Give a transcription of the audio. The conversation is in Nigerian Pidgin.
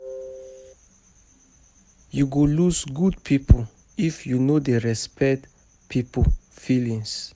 You go lose good people if you no dey respect people feelings.